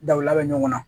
Dabila ɲɔgɔn na